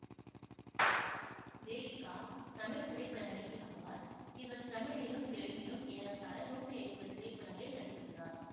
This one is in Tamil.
தேவிகா தமிழ் திரைப்பட நடிகை ஆவார் இவர் தமிழிலும் தெலுங்கிலும் ஏறத்தாழ நூத்தி ஐம்பது திரைப்படங்களில் நடித்துள்ளார்